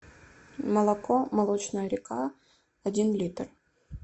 молоко молочная река один литр